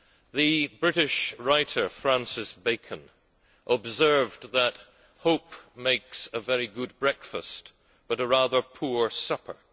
The British writer, Francis Bacon, observed that hope makes a very good breakfast but a rather poor supper.